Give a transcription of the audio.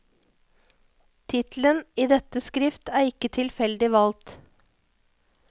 Tittelen i dette skrift er ikke tilfeldig valgt.